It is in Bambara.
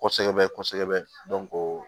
Kɔsɛbɛ kɔsɛbɛ